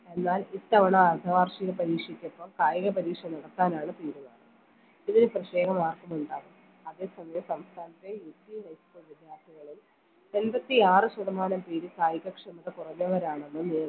എന്നാൽ ഇത്തവണ അർദ്ധ വാർഷിക പരീക്ഷയ്‌ക്കൊപ്പം കായിക പരീക്ഷ നടത്താനാണ് തീരുമാനം ഇതില് പ്രത്യേക അതേ സമയം സംസ്ഥാനത്തെ UPhighschool വിദ്യാർത്ഥികളിൽ എമ്പത്തി ആറ് ശതമാനം പേരും കായിക ക്ഷമത കുറഞ്ഞവരാണെന്നും